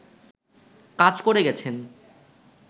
কাজ করে গেছেন